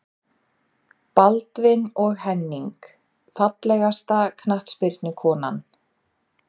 Baldvin og Henning Fallegasta knattspyrnukonan?